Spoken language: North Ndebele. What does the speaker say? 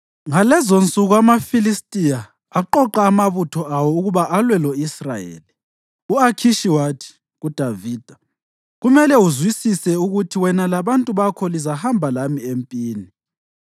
Ngalezonsuku amaFilistiya aqoqa amabutho awo ukuba alwe lo-Israyeli. U-Akhishi wathi kuDavida, “Kumele uzwisise ukuthi wena labantu bakho lizahamba lami empini.”